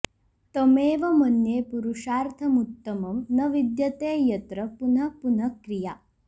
तमेव मन्ये पुरुषार्थमुत्तमं न विद्यते यत्र पुनः पुनः क्रिया